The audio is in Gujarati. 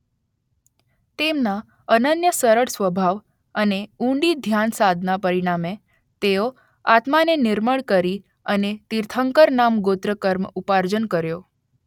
તેમના અનન્ય સરળ સ્વભાવ અને ઊંડી ધ્યાન સાધના પરિણામે તેઓ આત્માને નિર્મળ કરી અને તીર્થંકર નામ ગોત્ર કર્મ ઉપાર્જન કર્યો